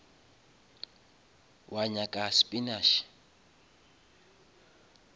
wa nyaka spinash